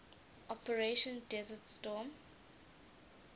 operation desert storm